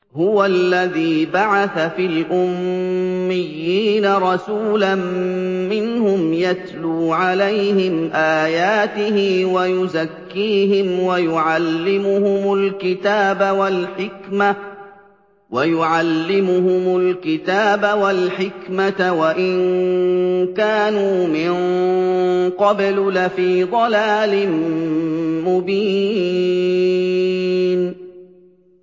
هُوَ الَّذِي بَعَثَ فِي الْأُمِّيِّينَ رَسُولًا مِّنْهُمْ يَتْلُو عَلَيْهِمْ آيَاتِهِ وَيُزَكِّيهِمْ وَيُعَلِّمُهُمُ الْكِتَابَ وَالْحِكْمَةَ وَإِن كَانُوا مِن قَبْلُ لَفِي ضَلَالٍ مُّبِينٍ